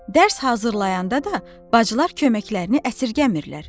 Dərs hazırlayanda da bacılar köməklərini əsirgəmirlər.